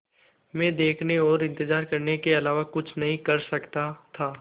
मैं देखने और इन्तज़ार करने के अलावा कुछ नहीं कर सकता था